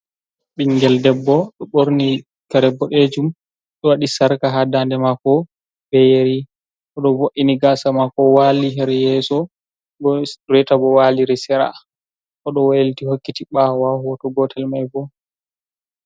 Ɓingel debbo ɗo ɓorni kare boɗejum ɗo waɗi sarka ha dande mako beyeri, oɗo vo’ini gasa mako wali heryeso, reta bo waliri seraa, oɗo walti hokkiti ɓawo ha hoto gotel mai bo.